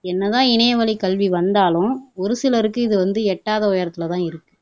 என்ன தான் இணையவழி கல்வி வந்தாலும் ஒரு சிலருக்கு இது வந்து எட்டாத உயரத்துல தான் இருக்கு